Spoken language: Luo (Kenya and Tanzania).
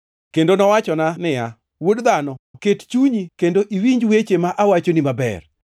Kendo nowachona niya, Wuod dhano, ket chunyi kendo iwinj weche ma awachoni maber.